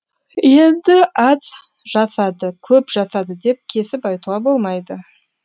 енді аз жасады көп жасады деп кесіп айтуға болмайды